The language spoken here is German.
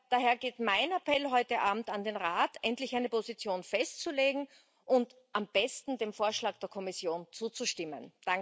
Daher geht mein Appell heute Abend an den Rat, endlich eine Position festzulegen und am besten dem Vorschlag der Kommission zuzustimmen.